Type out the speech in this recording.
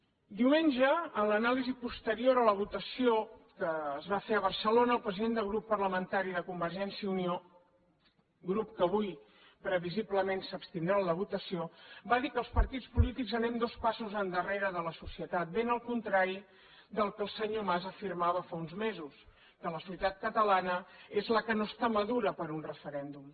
diumenge en l’anàlisi posterior a la votació que es va fer a barcelona el president del grup parlamentari de convergència i unió grup que avui previsiblement s’abstindrà en la votació va dir que els partits polítics anem dos passos endarrere de la societat ben al contrari del que el senyor mas afirmava fa uns mesos que la societat catalana és la que no està madura per a un referèndum